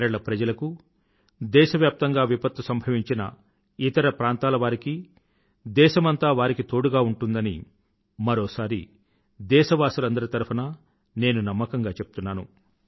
కేరళ ప్రజలకూ దేశవ్యాప్తంగా విపత్తు సంభవించిన ఇతర ప్రాంతాలవారికీ దేశమంతా వారికి తోడుగా ఉందని మరోసారి దేశవాసులందరి తరఫునా నేను నమ్మకంగా చెప్తున్నాను